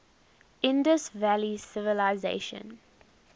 indus valley civilisation